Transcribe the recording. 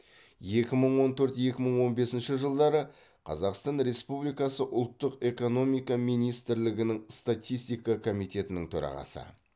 екі мың он төрт екі мың он бесінші жылдары қазақстан республикасы ұлттық экономика министрлігінің статистика комитетінің төрағасы